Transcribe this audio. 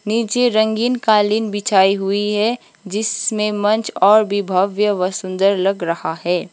नीचे रंगीन कालीन बिछी हुई है जिसमें मंच और भी भव्य व सुंदर लग रहा है।